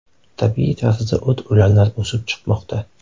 Tabiiy tarzda o‘t-o‘lanlar o‘sib chiqmoqda.